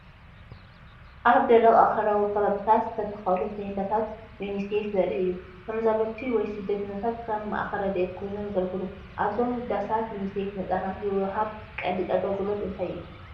ኣብ ደረቕ ኣኽራናዊ ከባቢታት ዝተተኽሉ ቴንዳታት ዩኒሴፍ ዘርኢ እዩ። ተመዛበልቲ ወይ ስደተኛታት ከም ማእከል ረድኤት ኮይኖም የገልግሉ። ኣብዞም ዳሳት ዩኒሴፍ ንህጻናት ዝወሃብ ቀንዲ ኣገልግሎታት እንታይ እዮም?